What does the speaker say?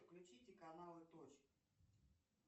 включите каналы точка